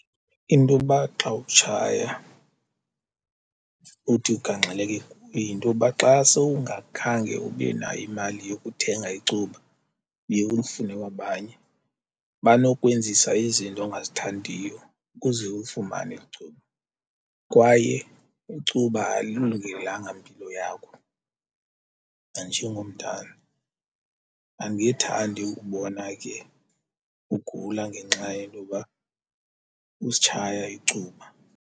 Into yoba xa utshaya futhi ugangxeleke kuyo yintoba xa sowungakhange ube nayo imali yokuthenga icuba uye ulifune kwabanye, banokwenzisa izinto ongazithandiyo ukuze ulifumane eli icuba. Kwaye icuba alilungelanga mpilo yakho nanjengomntana andingethandi ukubona ke ugula ngenxa yentoba usitshaya icuba.